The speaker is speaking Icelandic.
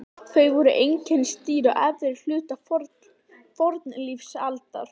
Þeir voru einkennisdýr á efri hluta fornlífsaldar.